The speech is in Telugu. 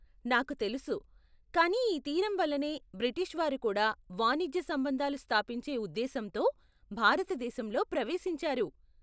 నాకు తెలుసు, కానీ ఈ తీరం వల్లనే బ్రిటిష్ వారు కూడా వాణిజ్య సంబంధాలు స్థాపించే ఉదేశ్యంతో భారత దేశంలో ప్రవేశించారు.